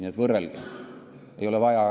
Nii et võrrelge.